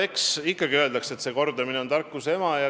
Eks ikka öeldakse, et kordamine on tarkuse ema.